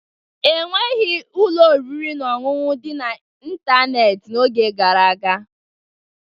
Enweghị ụlọ oriri na ọṅụṅụ dị n'ịntanetị n'oge gara aga